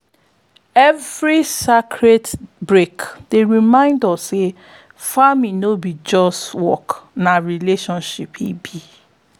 every sacred break dey remind us say farming no be just work na relationship e be.